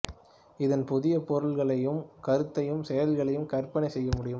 இதன் புதிய பொருள்களையும் கருத்தையும் செயல்களையும் கற்பனை செய்ய முடியும்